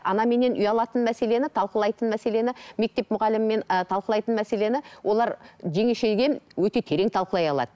анаменен ұялатын мәселені талқылайтын мәселені мектеп мұғалімімен і талқылайтын мәселені олар жеңешеге өте терең талқылай алады